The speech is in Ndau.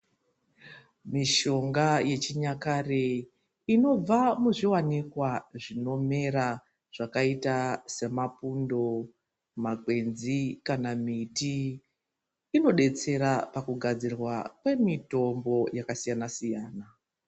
Mishonga yechinyakare inobva muzviwanikwa zvinomera zvakaita semapundo, makwenzi kana miti inodetsera pakugadzirwa kwemitombo yakasiyana siyana.